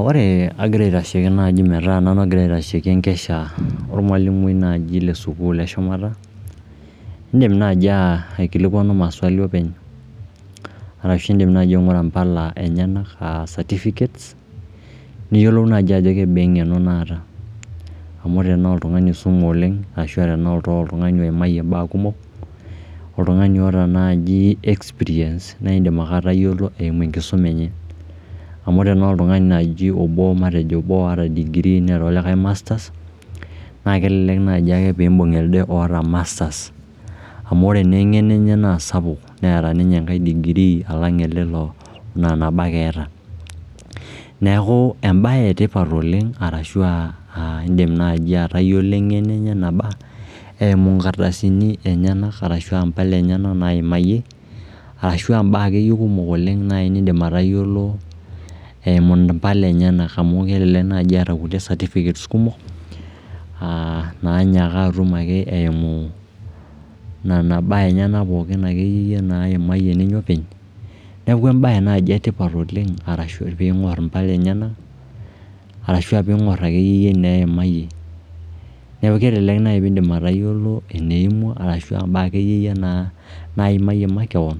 Ore agira aitashiki naai metaa nanu ogira aitashiki enkesha ormwalimui naaji le sukuul eshumata, indim naaji aikilikwanu maswali openy arashu indim nai aing'ra mpala enyenak aa certificates niyiolou naaji ajo kebaa eng'eno nataa amu ore enaa oltung'ani oisume oleng ashu enaa oltung'ani oimayie imbaak kumok, oltung'ani oota naaji experience naindim ake atayiolo eimu enkisuma enye. Amu ore naa oltung'ani naaji, matejo obo waare le degree neeta olikae masters naa kelelek naaji ake piimbung ele oota masters amu ore naa eng'eno enye naa sapuk, eeta ninye enkae degree alang ele laa nabo ake eeta. Neeku embae etipat oleng arashu aa, indim naaji atayiolo eng'eno enye eneba eumu inkardasini enyenak arashu aa mpala enyenak naimayie, arashu aa mbaak akeyie kumok oleng niindim atayiolo eimu mpala enyenak amu kelelek naaji eeta nkulie certificates kumok nainyaaka atum ake eimu nena baak enyenak pookin akeyie naimayie ninye openy. Neeku embae naai etipat oleng arashu piing'orr impala enyenak, arashu piing'orr akeyie ineimayie. Neeku kelelek naai piindim atayiolo eneimwa ashu akeyie naa naimayie makeon